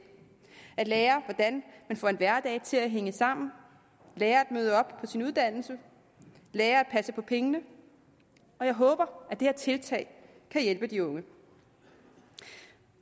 at lære hvordan man får en hverdag til at hænge sammen at lære at møde op på sin uddannelse at lære at passe på pengene og jeg håber at det her tiltag kan hjælpe de unge